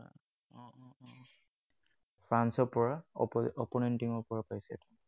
ফ্ৰান্সৰ পৰা, opposite opponent team ৰ পৰা পাইছে এইটো।